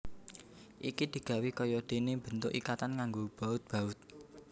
Iki digawé kaya dene bentuk ikatan nganggo baut baut